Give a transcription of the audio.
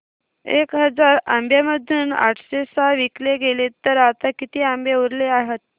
एक हजार आंब्यांमधून आठशे सहा विकले गेले तर आता किती आंबे उरले आहेत